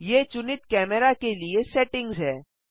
ये चुनित कैमरा के लिए सेटिंग्स हैं